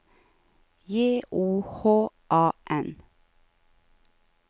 J O H A N